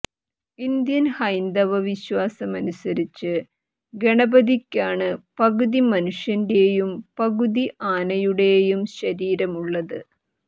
Indian ഹൈന്ദവ വിശ്വാസമനുസരിച്ച് ഗണിപതിയ്ക്കാണ് പകുതി മനുഷ്യന്റേയും പകുതി ആനയുടെയൂം ശരീരമുള്ളത്